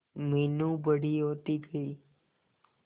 मीनू बड़ी होती गई